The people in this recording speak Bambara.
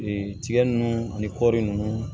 tigɛ nunnu ani kɔɔri nunnu